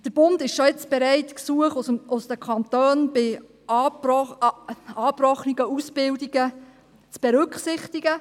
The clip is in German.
Der Bund ist schon jetzt bereit, Gesuche aus den Kantonen bei angebrochenen Ausbildungen zu berücksichtigen.